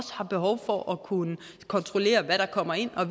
har behov for at kunne kontrollere hvad der kommer ind